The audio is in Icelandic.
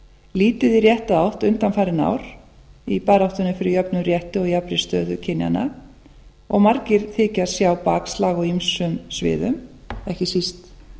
lítið í rétta átt undanfarin ár í baráttunni fyrir jöfnum rétti og jafnri stöðu kynjannaog margir þykjast sjá bakslag á ýmsum sviðum ekki síst